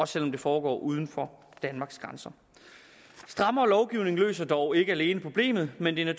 selv om det foregår uden for danmarks grænser strammere lovgivning løser dog ikke alene problemet men det er